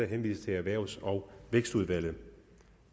henvises til erhvervs og vækstministeren